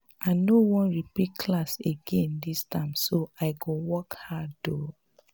i no wan repeat class again dis term so i go work hard um